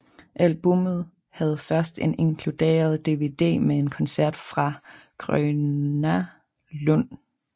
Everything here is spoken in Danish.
Albummet havde først en inkludered DVD med en koncert fra Gröna Lund